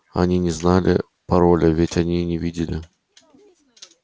они не знали пароля ведь они не видели